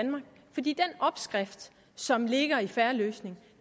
opskrift som ligger i en fair løsning